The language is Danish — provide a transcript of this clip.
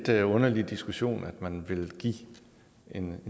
lidt underlig diskussion at man vil give en